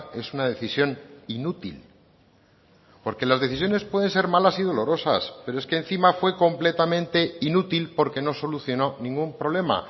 es una decisión inútil porque las decisiones pueden ser malas y dolorosas pero es que encima fue completamente inútil porque no solucionó ningún problema